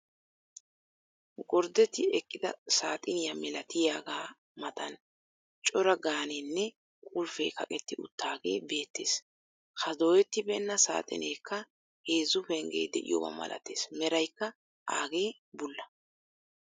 Gorddetti eqqida saaxiniyaa milatiyaagaa matan cora gaanenne qulfee kaqeetti uttagee beettees. ha doyettibeenna saaxineekka heezzu penggee de'iyooba malatees. meraykka agee bulla.